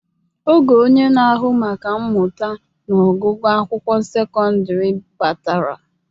Oge onye na-ahụ maka mmụta na ọgụgụ akwụkwọ sekọndrị batara.